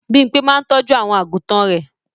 Bímpé máa ń tọ́jú àwọn àgùtàn rẹ̀.